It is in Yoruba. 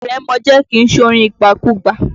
Ìrèmọ̀jé kìí ṣorin ìgbàkúgbà.